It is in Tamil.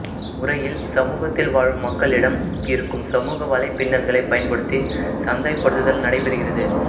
இம்முறையில் சமுகத்தில் வாழும் மக்களிடம் இருக்கும் சமூக வலைப்பின்னல்களை பயன்படுத்தி சந்தைப்படுத்தல் நடைபெறுகிறது